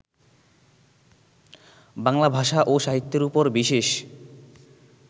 বাংলা ভাষা ও সাহিত্যের উপর বিশেষ